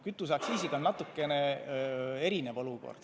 Kütuseaktsiisiga on natukene teistsugune olukord.